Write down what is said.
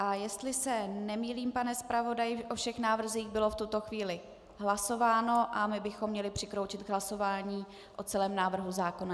A jestli se nemýlím, pane zpravodaji, o všech návrzích bylo v tuto chvíli hlasováno a my bychom měli přikročit k hlasování o celém návrhu zákona.